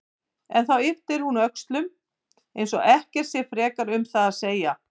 En þá yppir hún öxlum eins og ekkert sé frekar um það að segja.